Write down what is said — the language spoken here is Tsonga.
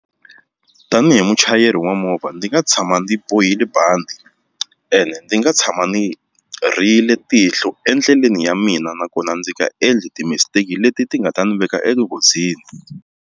Tanihi muchayeri wa movha ndzi nga tshama ndzi bohile bandi ene ni nga tshama ni rhiyile tihlo endleleni ya mina nakona ndzi nga endli ti-mistake leti ti nga ta ndzi veka enghozini.